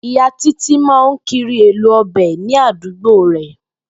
Ìyá Títí máa ń kiri èlò o̩bè̩ ní àdúgbò rè